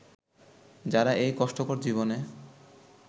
যারা এই কষ্টকর জীবনে